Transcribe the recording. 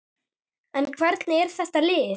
En hvernig er þetta lið?